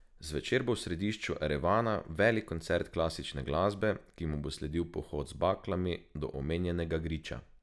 Zvečer bo v središču Erevana velik koncert klasične glasbe, ki mu bo sledil pohod z baklami do omenjenega griča.